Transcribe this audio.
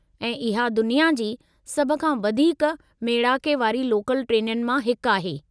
ऐं इहा दुनिया जी सभु खां वधीकु मेड़ाके वारी लोकल ट्रेनुनि मां हिकु आहे।